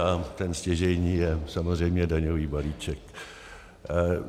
A ten stěžejní je samozřejmě daňový balíček.